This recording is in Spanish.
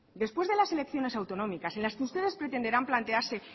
después de las elecciones autonómicas en las que ustedes pretenderán plantearse